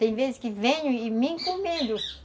Tem vezes que venho e me encomendo.